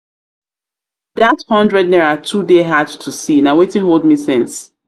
dat hundred naira too dey hard to to see na wetin hold me since